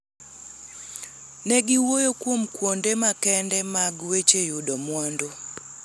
Ne giwuoyo kuom kuonde makende mag weche yudo mwandu,